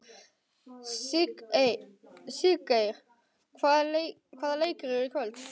Siggeir, hvaða leikir eru í kvöld?